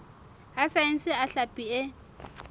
a saense a hlapi e